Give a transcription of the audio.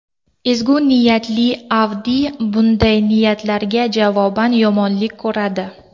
Ezgu niyatli Avdiy bunday niyatlariga javoban yomonlik ko‘radi.